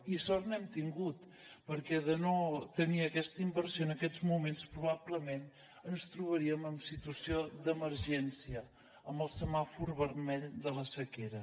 i sort n’hem tingut perquè de no tenir aquesta inversió en aquests moments probablement ens trobaríem en situació d’emergència amb el semàfor vermell de la sequera